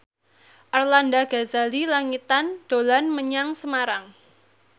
Arlanda Ghazali Langitan dolan menyang Semarang